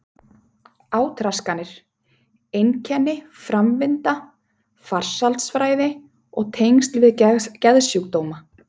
Átraskanir: einkenni, framvinda, faraldsfræði og tengsl við geðsjúkdóma.